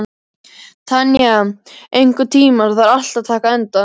Tanya, einhvern tímann þarf allt að taka enda.